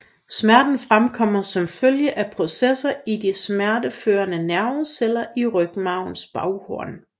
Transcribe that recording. Smerten fremkommer som følge af processer i de smerteførende nerveceller i rygmarvens baghorn